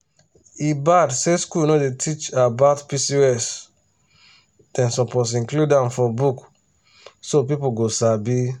e bad say school no dey teach about pcos dem suppose include am for book so people go sabi.